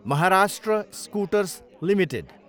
Maharashtra scooters Ltd